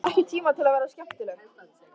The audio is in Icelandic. Hún hefur bara ekki tíma til að vera skemmtileg.